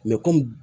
komi